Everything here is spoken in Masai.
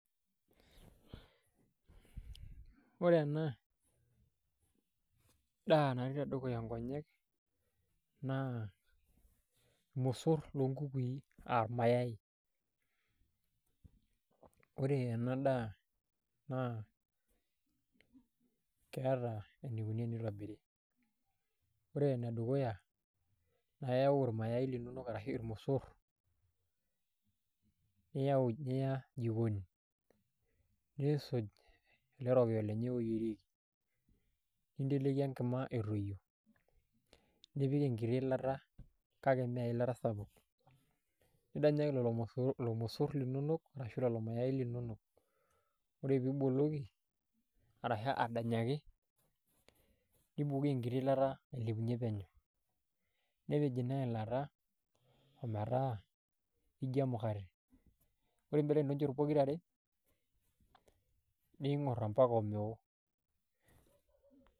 Ore ena daa natii tedukuya nkonyek naa irmosorr loonkukui aa irmayai ore ena daa naa keeta enikoni enitobiri , ore ene dukuya naa iyau irmayaai linonok arashu irmosorr niyau niya jikoni niisuj ele rokiyo lenye oyierieki ninteleiki enkima etoyio nipik enkiti ilata kake mee eilata sapuk nidanyaki lelo mosorr linonok ashu lelo mayaai linonok ore piibukoki arashu adanyaki nibukoki enkiti ilata ailepunyie penyo, nepej ina ilata ometaa ijio emukate niremirem inchot pokirare niing'orr ompaka omeoo.